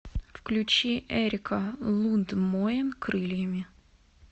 включи эрика лундмоен крыльями